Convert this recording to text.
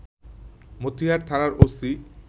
মতিহার থানার ওসি